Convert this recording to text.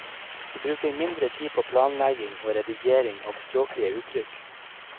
Vi bruker mindre tid på planlegging og redigering av språklige uttrykk.